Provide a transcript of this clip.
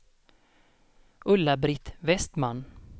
Ulla-Britt Vestman